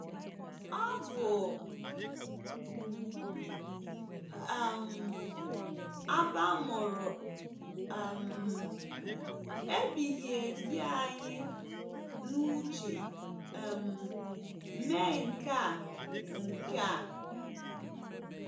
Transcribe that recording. Ọ bu um abamuru um ebighị ebi anyị n’uche um mee nke a nke a.